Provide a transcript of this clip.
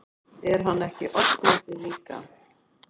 Er hann ekki oddviti líka?